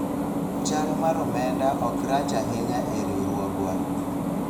chal mar omenda ok rach ahinya e riwruogwa